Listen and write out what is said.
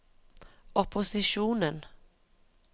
opposisjonen